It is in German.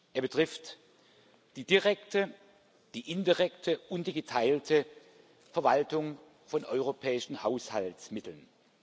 Er betrifft die direkte, die indirekte und die geteilte Verwaltung von europäischen Haushaltsmitteln.